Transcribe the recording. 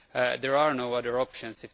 There are no other options.